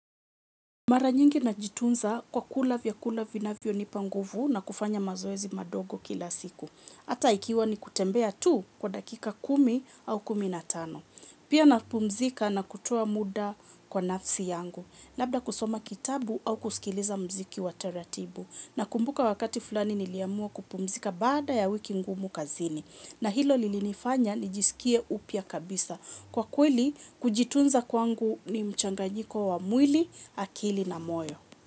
Mara nyingi na jitunza kwa kula vya kula vina vyo ni panguvu na kufanya mazoezi madogo kila siku. Ata ikiwa ni kutembea tu kwa dakika kumi au kuminatano. Pia na pumzika na kutoa muda kwa nafsi yangu. Labda kusoma kitabu au kuskiliza mziki wa taratibu. Na kumbuka wakati fulani niliamua kupumzika baada ya wiki ngumu kazini. Na hilo lilinifanya nijiskie upya kabisa. Kwa kweli, kujitunza kwangu ni mchanganyiko wa mwili, akili na moyo.